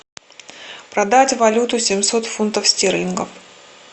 продать валюту семьсот фунтов стерлингов